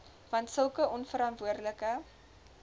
want sulke onverantwoordelike